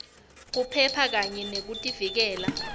kuphepha kanye nekuvikeleka